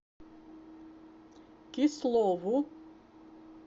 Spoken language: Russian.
кислову